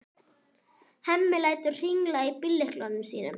Hemmi lætur hringla í bíllyklunum sínum.